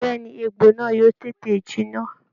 Bẹ́ẹ̀ ni, egbò náà yóò tètè jinná